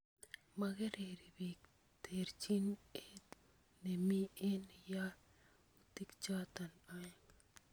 Mongerei bik terchin et nemi eng yautik choto oeng